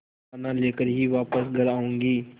दाना लेकर ही वापस घर आऊँगी